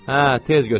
Hə, tez götür.